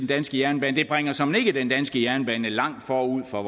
danske jernbane det bringer såmænd ikke den danske jernbane langt forud for